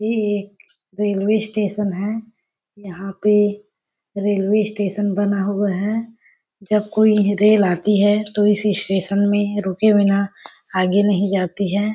ये एक railway station है यहाँ पे रेलवे स्टेशन बना हुआ है जब कोइ रेल आती है तो इस स्टेशन में रुके बिना आगे नहीं जाती है।